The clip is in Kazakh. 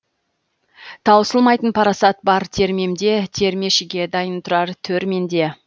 таусылмайтын парасат бар термемде термешіге дайын тұрар төр менде